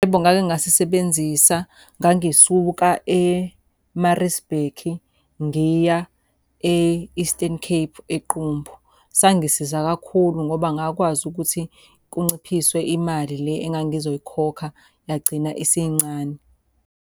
Yebo ngake ngasisebenzisa, ngangisuka e-Maritzburg ngiya e-Eastern Cape, eQumbu. Sangisiza kakhulu ngoba ngakwazi ukuthi kunciphiswe imali le engangizoyikhokha yagcina isincane.